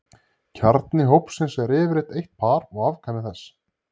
kjarni hópsins er yfirleitt eitt par og afkvæmi þess